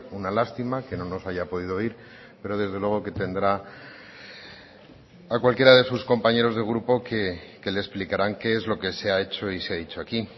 una lástima que no nos haya podido oír pero desde luego que tendrá a cualquiera de sus compañeros de grupo que le explicarán qué es lo que se ha hecho y se ha dicho aquí